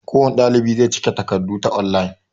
kowane ɗalibi zai cike takardu ta online